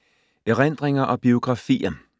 Erindringer og biografier